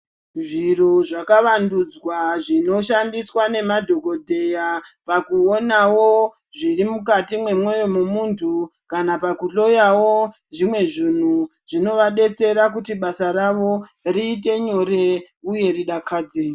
Zviro zvakavandudzwa zvinoshandiswa nemadhokodheya pakuonao zviri mukati mwemoyo memunthu kana pakuhloyawo zvimwe zvinhu zvinovadetsera kuti basa ravo riite nyore uye ridakadze.